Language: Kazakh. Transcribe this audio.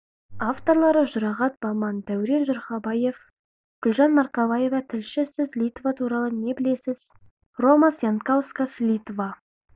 авторлары жұрағат баман дәурен журхабаев гүлжан марқабаева тілші сіз литва туралы не білесіз ромас янкаускас литва